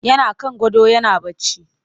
Yana kan gado yana barci